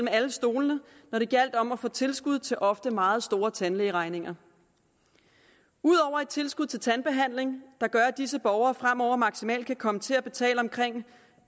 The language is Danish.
alle stole når det gjaldt om at få tilskud til ofte meget store tandlægeregninger ud over et tilskud til tandbehandling der gør at disse borgere fremover maksimalt kan komme til at betale omkring